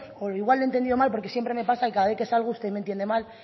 o igual le he entendido mal porque siempre me pasa que cada vez que salgo usted me entiende mal